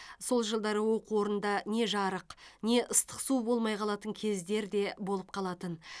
сол жылдары оқу орнында не жарық не ыстық су болмай қалатын кездер де болып қалатын